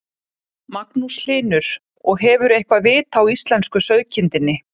Magnús Hlynur: Og hefurðu eitthvað vit á íslensku sauðkindinni?